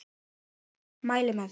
Mæli með því.